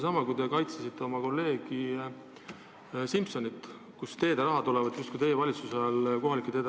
Näiteks kui te kaitsesite oma kolleegi Simsonit, siis te ütlesite, et kohalike teede rahad on teie valitsuse ajal kasvanud.